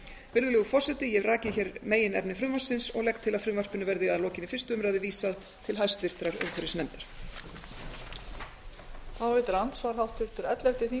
virðulegur forseti ég hef rakið hér meginefni frumvarpsins og legg til að frumvarpinu verði að lokinni fyrstu umræðu vísað til hæstvirtrar umhverfisnefndar